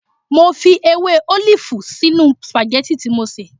Mo fi ewé ólìfù sínú sìpàgẹ́tì tí mo sè